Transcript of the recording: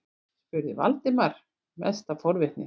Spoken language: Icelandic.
spurði Valdimar, mest af forvitni.